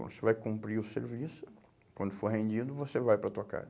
Você vai cumprir o serviço, quando for rendido, você vai para a tua